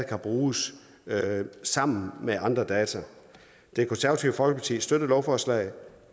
kan bruges sammen med andre data det konservative folkeparti støtter lovforslag